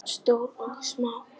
Stórar og smáar.